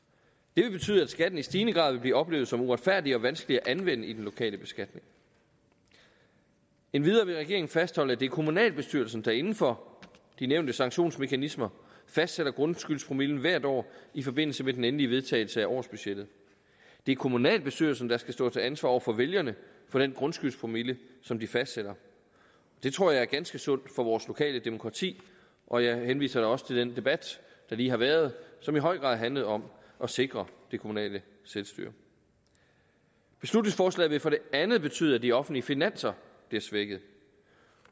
det vil betyde at skatten i stigende grad vil blive oplevet som uretfærdig og vanskelig at anvende i den lokale beskatning endvidere vil regeringen fastholde at det er kommunalbestyrelsen der inden for de nævnte sanktionsmekanismer fastsætter grundskyldspromillen hvert år i forbindelse med den endelige vedtagelse af årsbudgettet det er kommunalbestyrelsen der skal stå til ansvar over for vælgerne for den grundskyldspromille som de fastsætter det tror jeg er ganske sundt for vores lokale demokrati og jeg henviser da også til den debat der lige har været som i høj grad har handlet om at sikre det kommunale selvstyre beslutningsforslaget vil for det andet betyde at de offentlige finanser bliver svækket